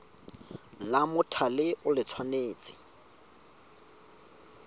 la mothale o le tshwanetse